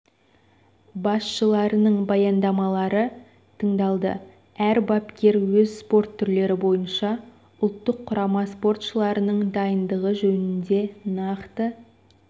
басшысыларының баяндамалары тыңдалды әр бапкер өз спорт түрлері бойынша ұлттық құрама спортшыларының дайындығы жөнінде нақты